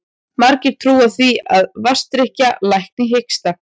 Margir trúa því að vatnsdrykkja lækni hiksta.